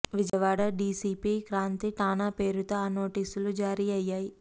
Vijayawada DCP Kranti ఠాణా పేరుతో ఆ నోటీసులు జారీ అయ్యాయి